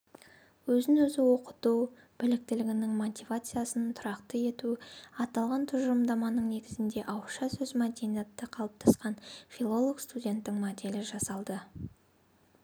өзін-өзі оқыту біліктілігінің мотивациясын тұрақты ету аталған тұжырымдаманың негізінде ауызша сөз мәдениеті қалыптасқан фиололог-студенттің моделі жасалды